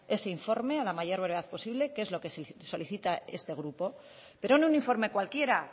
ese informe a la mayor brevedad posible que es lo que solicita este grupo pero no un informe cualquiera